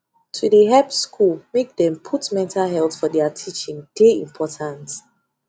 to de help school make dem put mental health for thier teaching de important